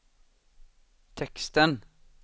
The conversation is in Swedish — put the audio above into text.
texten